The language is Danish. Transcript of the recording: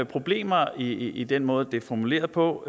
problemer i i den måde det er formuleret på